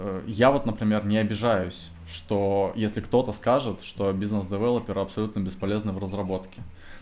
я вот например не обижаюсь что если кто-то скажет что бизнес девелопер абсолютно бесполезный в разработке